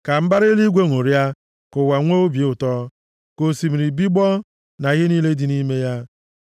Ka mbara eluigwe ṅụrịa, ka ụwa nwekwa obi ụtọ; ka osimiri bigbọọ, na ihe niile dị nʼime ya.